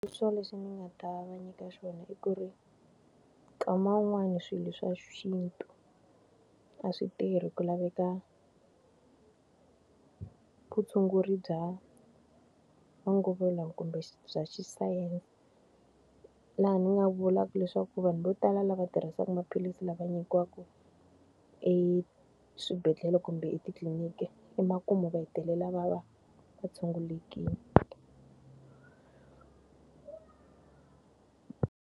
leswi ni nga ta va nyika xona i ku ri, kama wun'wani swilo swa xintu a swi tirhi ku laveka vutshunguri bya manguva lawa kumbe bya xisayense. Laha ni nga vulaka leswaku vanhu vo tala lava tirhisaka maphilisi lava nyikiwaka eswibedhlele kumbe etitliniki, emakumu va hetelela va va tshungulekile.